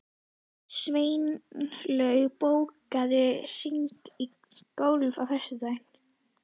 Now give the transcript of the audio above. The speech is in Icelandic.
Sveinlaug, bókaðu hring í golf á föstudaginn.